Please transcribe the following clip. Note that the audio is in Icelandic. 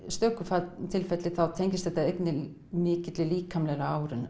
stöku tilfelli þá tengist þetta einnig mikilli líkamlegri